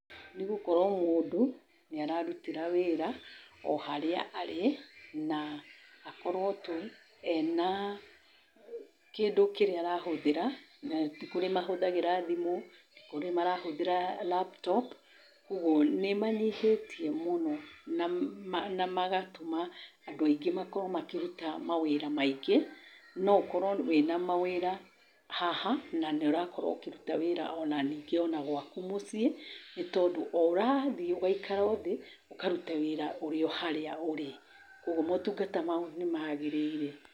Nĩ gũkorwo mũndũ nĩ ararutĩra wĩra harĩa arĩ na akorwo tu ena kĩndũ kĩrĩa arahũthĩra. Ti kũrĩ marahũthagĩra thimũ, ti kũrĩ marahũthĩra laptop. Kwoguo nĩ manyihĩtie mũno na magatũma andũ aingĩ makorwo makĩruta mawĩra maingĩ. No ũkorwo wĩna mawĩra haha, na nĩ ũrakorwo ũkĩruta wĩra o na ningĩ o na gwaku mũciĩ nĩ tondũ o ũrathi ũgaikara thĩ, ũkaruta wĩra ũrĩ o harĩa a ũrĩ. Kwoguo maũtungata mau nĩ maagĩrĩire.